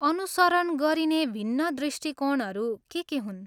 अनुसरण गरिने भिन्न दृष्टिकोणहरू के के हुन्?